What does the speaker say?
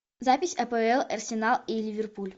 запись апл арсенал и ливерпуль